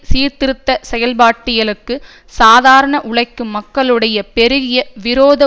சீர்திருத்த செயற்பட்டியலுக்கு சாதாரண உழைக்கும் மக்களுடைய பெருகிய விரோத